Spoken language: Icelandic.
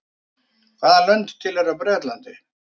hvaða lönd tilheyra bretlandi